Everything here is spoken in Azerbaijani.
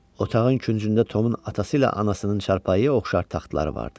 Otağın küncündə Tomun atası ilə anasının çarpayıya oxşar taxtları vardı.